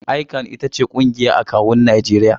ICAN ita ce ƙungiyar akawun Najeriya.